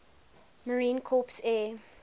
marine corps air